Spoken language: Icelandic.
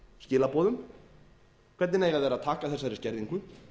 skilaboðum hvernig eiga þeir að taka þessari skerðingu